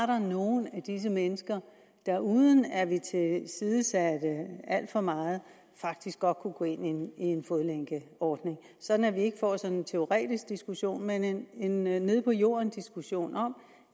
var nogle af disse mennesker der uden at vi tilsidesatte alt for meget faktisk godt kunne gå ind i en fodlænkeordning sådan at vi ikke får en teoretisk diskussion men en nede på jorden diskussion om